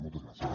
moltes gràcies